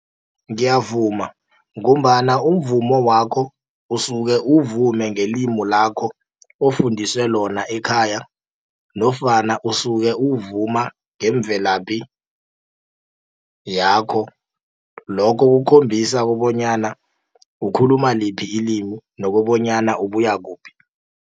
Ngiyavuma, ngombana umvumo wakho, usuke uwuvume ngelimi lakho ofundiswe lona ekhaya, nofana usuke uwuvuma ngemvelaphi yakho. Lokho kukhombisa kobonyana ukhuluma liphi ilimi, nokobonyana ubuya kuphi.